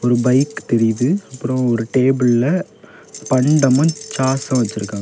ஒரு பைக் தெரியுது அப்புறம் ஒரு டேபிள்ல பண்டமன் சாஸ வச்சிருக்.